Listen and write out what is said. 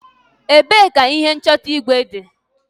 Ebee ka ihe nchọta igwe dị?